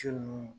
Su ninnu